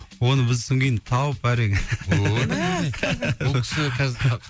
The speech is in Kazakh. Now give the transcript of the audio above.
оны біз содан кейін тауып әрең